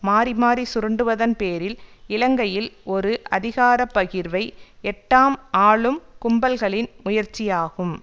மாறி மாறி சுரண்டுவதன் பேரில் இலங்கையில் ஒரு அதிகார பகிர்வை எட்டாம் ஆளும் கும்பல்களின் முயற்சியாகும்